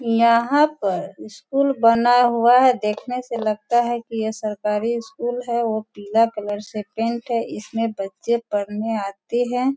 यहाँ पर स्कूल बना हुआ है देखने से लगता है कि ये सरकारी स्कूल है वो पीला कलर से पेंट है इसमें बच्चे पढ़ने आते हैं।